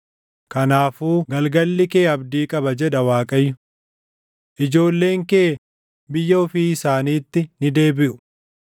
Kanaafuu galgalli kee abdii qaba” jedha Waaqayyo. Ijoolleen kee biyya ofii isaaniitti ni deebiʼu.